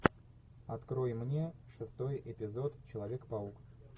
открой мне шестой эпизод человек паук